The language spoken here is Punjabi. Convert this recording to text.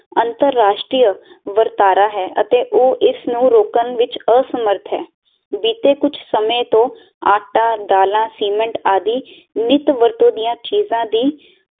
ਅੰਤਰ ਰਾਸਟਰੀਏ ਵਰਤਾਰਾ ਹੈ ਅਤੇ ਉਹ ਇਸ ਨੂੰ ਰੋਕਣ ਵਿੱਚ ਅਸਮਰਥ ਹੈ ਬੀਤੇ ਕੁੱਜ ਸਮੇ ਤੋਂ ਆਟਾ, ਦਾਲਾਂ, ਸੀਮੇਂਟ ਆਦਿ ਨਿਤ ਵਰਤੋਂ ਦੀਆਂ ਚੀਜਾਂ ਦੀ